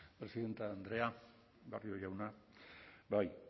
presidente andrea barrio jauna bai